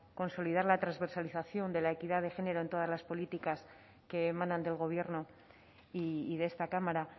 consolidar la transversalización de la equidad de género en todas políticas que emanan del gobierno y de esta cámara